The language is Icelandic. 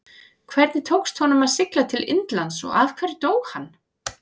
Hvernig tókst honum að sigla til Indlands og af hverju dó hann?